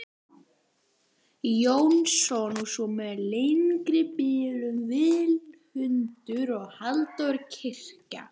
Jónsson og svo með lengri bilum, Vilmundur, Halldór Kiljan.